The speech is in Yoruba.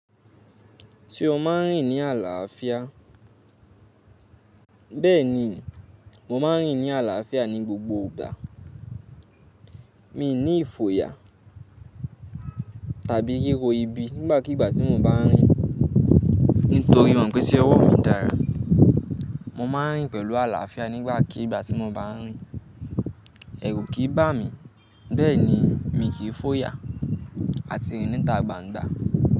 Tí o máa ń rìn ní àlàáfíà. Bẹ́ẹ̀ni, mo máa ń rìn ní àlàáfíà ní gbogbo ìgbà. Mi ò ní ìfòyà tàbí ríro ibi nígbàkigbà tí mo bá ń rìn. Nítorí mo mọ̀ pé tí ọwọ́ mi dára, mo máa ń rìn pẹ̀lú àlàáfíà nígbàkiigbà tí mo bá ń rìn. Ẹ̀rù kì í bá mi, bẹ́ẹ̀ni mi kì í fòyà àti rìn níta gbangba.